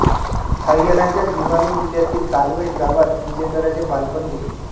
हरीयाणाच्या भिवानी जिल्यातील कालवश गावात विजेंदराचे बालपण गेले